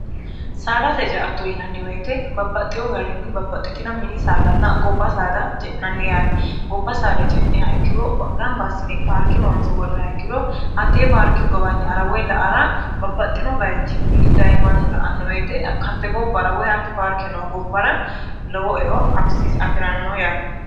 saadate ce'atto yinanni woyete babbaxxeo garinni babbaxxitino mini saadanna gobba saada ce'nanni yaate gobba saada ce'niha ikkiro gamba assine parke loonse worreha ikkiro hattee parke gowanya'ara woy la'ara babbaxxino bayichinni dayi mannu la'anno woyete hatte gobbara woy hatti parke no gobbara lowo e'o afi'rano yaate